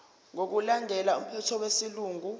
ngokulandela umthetho wesilungu